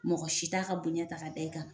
Mɔgɔ si t'a ka bonya ta k'a da i kan